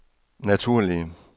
naturlige